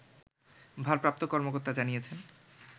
ভারপ্রাপ্ত কর্মকর্তা জানিয়েছেন